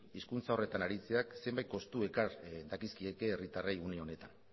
hizkuntza horretan aritzeak zenbait kostu ekar dakizkieke herritarrei une honetan